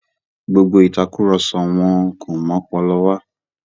Gbogbo ìtàkurọ̀sọ wọn kò mú ọpọlọ wà.